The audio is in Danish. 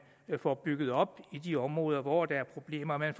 får bygget op i de områder hvor der er problemer man